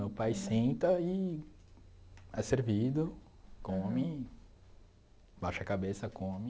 Meu pai senta e é servido, come, baixa a cabeça, come...